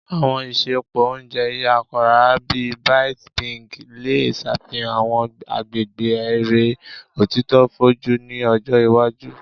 Àwọn isẹpo oúnjẹ yara, bii Byte Binge, le ṣafihan àwọn agbegbe ere otito foju ni ọjọ iwaju.